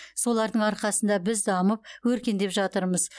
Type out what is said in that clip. солардың арқасында біз дамып өркендеп жатырмыз